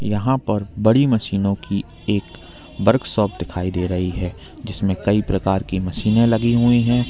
यहां पर बड़ी मशीनों की एक वर्कशॉप दिखाई दे रही है जिसमें कई प्रकार की मशीनें लगी हुई हैं।